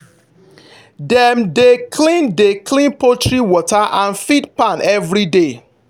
dem dey clean dey clean poultry water and feed pan every day.